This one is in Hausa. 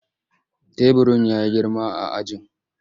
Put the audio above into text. Teburin ya yi girma a ajin.